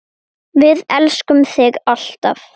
Við elskum þig, alltaf.